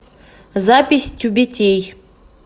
запись тюбетей